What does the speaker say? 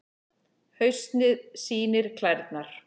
Haustið sýnir klærnar